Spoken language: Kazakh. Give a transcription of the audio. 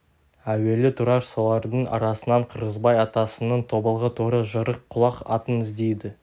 әуелі тұрар солардың арасынан қырғызбай атасының тобылғы торы жырық құлақ атын іздейді